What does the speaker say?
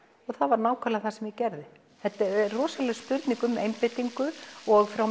og það var nákvæmlega það sem ég gerði þetta er rosaleg spurning um einbeitingu og frá